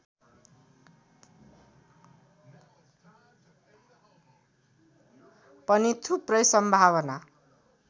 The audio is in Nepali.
पनि थुप्रै सम्भावना